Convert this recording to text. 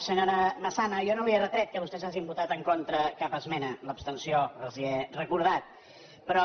senyora massana jo no li he retret que vostès hagin votat en contra cap esmena l’abstenció els he recordat però